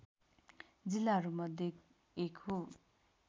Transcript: जिल्लाहरूमध्ये एक हो